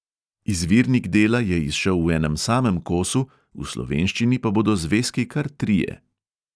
Izvirnik dela je izšel v enem samem kosu, v slovenščini pa bodo zvezki kar trije.